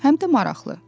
Həm də maraqlı.